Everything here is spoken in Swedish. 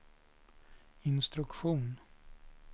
instruktion